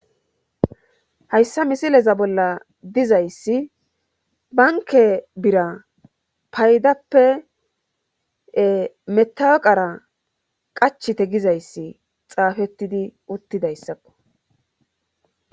Hayssa misileza bolla dizayssi banke bira paydappe metawaqara qachte gizayssi xaafettidi uttidayssakko.